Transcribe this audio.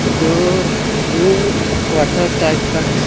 दो room quarter type का है।